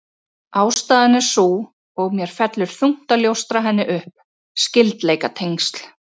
Ástæðan er sú, og mér fellur þungt að ljóstra henni upp: Skyldleikatengsl